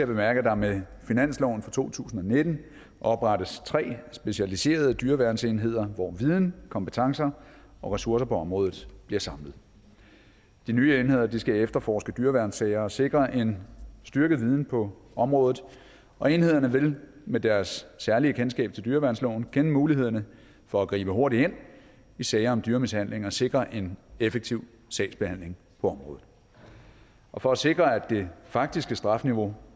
bemærke at der med finansloven for to tusind og nitten oprettes tre specialiserede dyreværnsenheder hvor viden kompetencer og ressourcer på området bliver samlet de nye enheder skal efterforske dyreværnssager og sikre en styrket viden på området og enhederne vil med deres særlige kendskab til dyreværnsloven kende mulighederne for at gribe hurtigt ind i sager om dyremishandling og sikre en effektiv sagsbehandling på området og for at sikre at det faktiske strafniveau